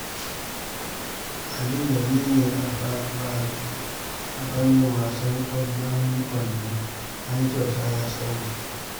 Ali gwani ne a fannin wasan ƙwallon kwando, har kyauta ya samu